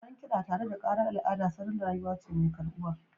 Sauraron kiɗa tare da ƙarar al'ada salon rayuwa ce mai karɓuwa